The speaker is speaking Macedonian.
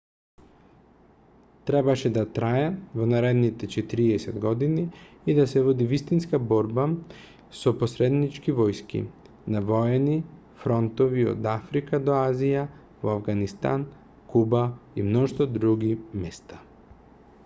требаше да трае во наредните 40 години и да се води вистинска борба со посреднички војски на воени фронтови од африка до азија во авганистан куба и мноштво други места